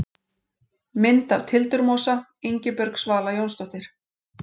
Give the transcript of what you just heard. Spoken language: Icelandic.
Mynd af tildurmosa: Ingibjörg Svala Jónsdóttir.